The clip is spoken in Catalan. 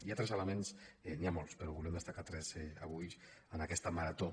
hi ha tres elements n’hi ha molts però en volem destacar tres avui en aquesta marató